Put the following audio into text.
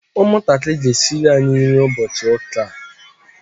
ụmụntakịrị ga-esiri anyị nri ụbọchị ụka a